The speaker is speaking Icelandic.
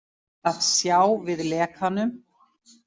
Að sjá við lekanum